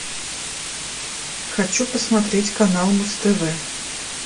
хочу посмотреть канал муз тв